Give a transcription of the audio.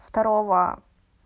второго